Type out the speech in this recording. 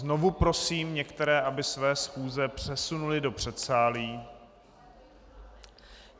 Znovu prosím některé, aby své schůze přesunuli do předsálí.